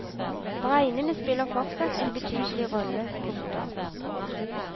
Bregnene spiller fortsatt en betydelig rolle. punktum